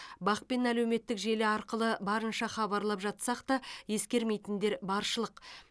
бақ пен әлеуметтік желі арқылы барынша хабарлап жатсақ та ескермейтіндер баршылық